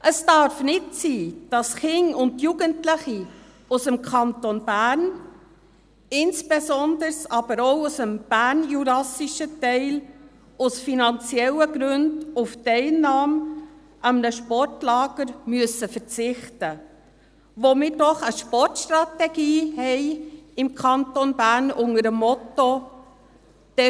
Es darf nicht sein, dass Kinder und Jugendliche aus dem Kanton Bern, insbesondere aber auch aus dem bernjurassischen Teil, aus finanziellen Gründen auf die Teilnahme an einem Sportlager verzichten müssen, wo wir doch im Kanton Bern eine Sportstrategie unter dem Motto haben: